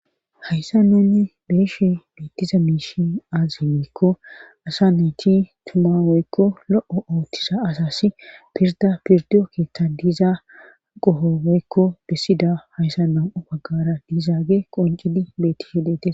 Hayssa nanne beeshe beettiza miishi aaze weekko asa neti tumawoykko lo'o oothtiza asasi pirda pirdiyo keeththa diiza qohoweykko bessida hayssa nam'o baggara diizaage qoncidi bettise deete.